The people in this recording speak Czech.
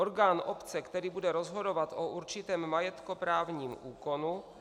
Orgán obce, který bude rozhodovat o určitém majetkoprávním úkonu?